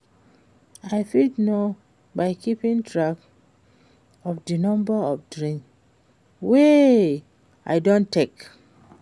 I fit know by keeping track of di number of drinks wey i don take.